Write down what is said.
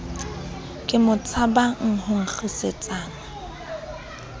ke mo tshabang ho nkgisetsana